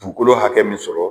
Dugukolo hakɛ min sɔrɔ